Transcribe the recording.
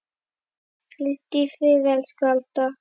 Hvíldu í friði, elsku Alda.